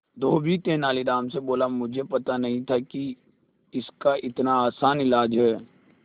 धोबी तेनालीराम से बोला मुझे पता नहीं था कि इसका इतना आसान इलाज है